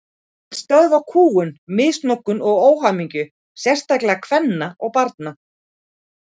Hún vill stöðva kúgun, misnotkun og óhamingju, sérstaklega kvenna og barna.